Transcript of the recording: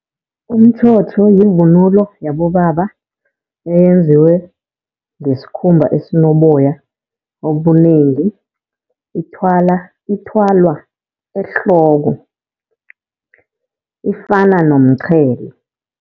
Umtjhotjho yivunulo yabobaba eyenziwe ngesikhumba esinoboya obunengi. Ithwala, ithwalwa ehloko ifana nomqhele.